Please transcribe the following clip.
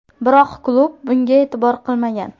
Biroq klub bunga e’tibor qilmagan.